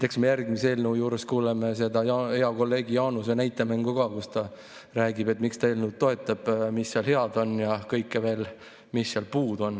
Eks me järgmise eelnõu juures kuuleme ka hea kolleegi Jaanuse näitemängu, kus ta räägib, miks ta eelnõu toetab, mis seal head on ja mis sealt puudu on.